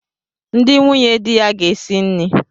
Ndi nwunye di ya ga esi nni.